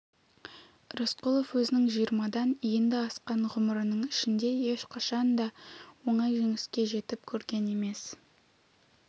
рысқұлов өзінің жиырмадан енді асқан ғұмырының ішінде ешқашан да оңай жеңіске жетіп көрген емес